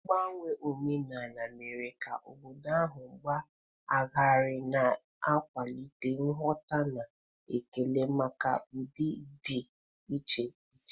Mgbanwe omenala mere ka obodo ahụ baa ọgaranya, na-akwalite nghọta na ekele maka ụdị dị iche iche.